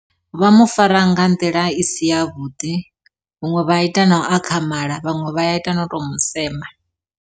Vha mufara nga nḓila i si yavhuḓi huṅwe vha ita nau akhamala vhaṅwe vha ya ita no to musema.